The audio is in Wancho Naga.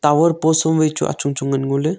tawer post post vachu achong achong ngao le.